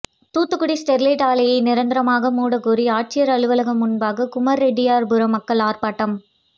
Thoothukudi Sterlite ஆலையை நிரந்தரமாக மூடக்கோரி ஆட்சியர் அலுவலகம் முன்பாக குமரெட்டியார்புரம் மக்கள் ஆர்ப்பாட்டம்